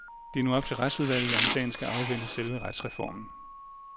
Det er nu op til retsudvalget, om sagen skal afvente selve retsreformen.